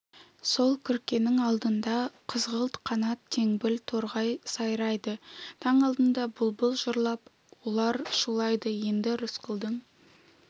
сол күркенің алдында қызғылт қанат теңбіл торғай сайрайды таң алдында бұлбұл жырлап ұлар шулайды енді рысқұлдың